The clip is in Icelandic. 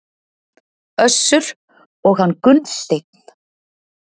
Össur og hann Gunnsteinn.